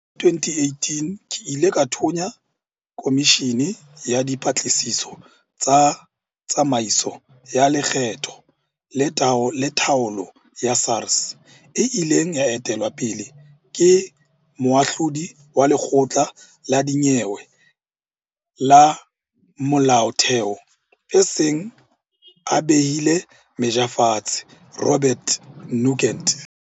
Ka 2018, ke ile ka thonya komishini ya dipatlisiso tsa tsamaiso ya lekgetho le taolo ya SARS e ileng ya etelwa pele ke Moahlodi wa Lekgotla la Dinyewe la Molaotheo a seng a behile meja fatshe, Robert Nugent.